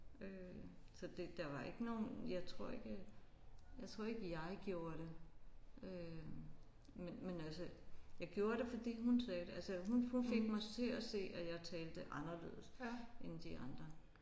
Øh så det der var ikke nogen jeg tror ikke jeg tror ikke jeg gjorde det øh men men altså jeg gjorde det fordi hun sagde det altså hun hun fik mig til at se at jeg talte anderledes end de andre